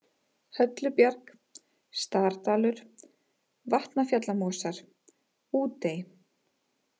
Höllubjarg, Stardalur, Vatnafjallamosar, Útey